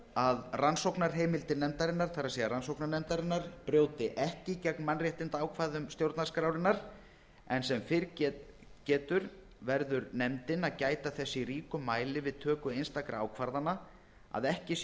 að rannsóknarheimildir nefndarinnar það er rannsóknarnefndarinnar brjóti ekki gegn mannréttindaákvæðum stjórnarskrárinnar en sem fyrr getur verður nefndin að gæta þess í ríkum mæli við töku einstakra ákvarðana að ekki sé